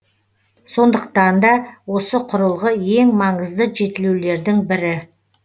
сондықтанда осы құрылғы ең маңызды жетілулердің бірі